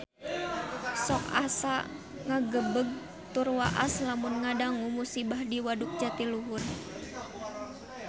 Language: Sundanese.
Sok asa ngagebeg tur waas lamun ngadangu musibah di Waduk Jatiluhur